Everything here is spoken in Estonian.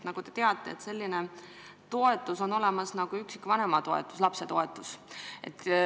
Nagu te teate, on olemas selline toetus nagu üksikvanema lapse toetus.